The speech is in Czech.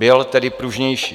Byl tedy pružnější.